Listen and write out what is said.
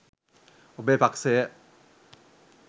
ඔබේ පක්‍ෂය